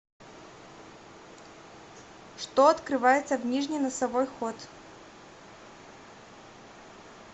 что открывается в нижний носовой ход